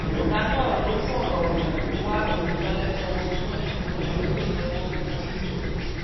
ọ̀gá náà ló fọ̀rọ̀ tútù wá òótọ́ lẹ́nu ọmọ náà ṣùgbọ́n tí kò jẹ́wọ́ fún un